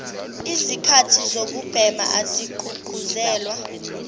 lzikhathi zokubhema azigqugquzelwa